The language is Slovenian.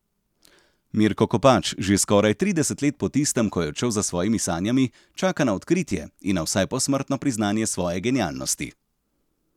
Mirko Kopač že skoraj trideset let po tistem, ko je odšel za svojimi sanjami, čaka na odkritje in na vsaj posmrtno priznanje svoje genialnosti.